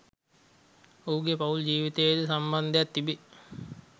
ඔහුගේ පවුල් ජීවිතයේ ද සම්බන්ධයක්‌ තිබේ